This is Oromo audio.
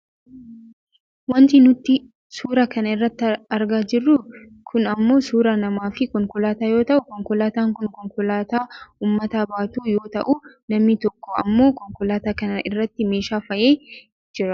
Wanti nuti suura kana irratti argaa jirru kun ammoo suuraa nama fi konkolaataa yoo ta'u, konkolaataan kun konkolaataa uummata baatu yoo ta'u namni tokko ammoo konkolaataa kana irratti meeshaa fe'aa jira.